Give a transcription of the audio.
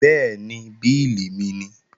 Bẹ́ẹ̀ni, bílì mi nìí